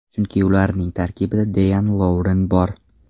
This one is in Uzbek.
Chunki ularning tarkibida Deyan Lovren bor.